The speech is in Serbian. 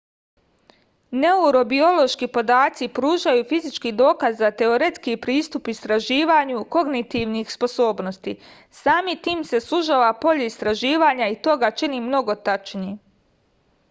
neurobiološki podaci pružaju fizički dokaz za teoretski pristup istraživanju kognitivnih sposobnosti samim tim se sužava polje istraživanja i to ga čini mnogo tačnijim